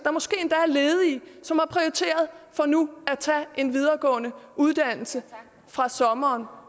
som og prioriteret nu at tage en videregående uddannelse fra sommeren